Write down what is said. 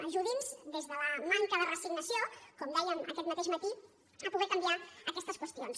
ajudi’ns des de la manca de resignació com dèiem aquest mateix matí a poder canviar aquestes qüestions